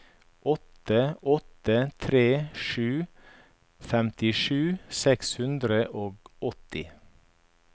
åtte åtte tre sju femtisju seks hundre og åtti